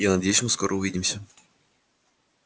я надеюсь мы скоро увидимся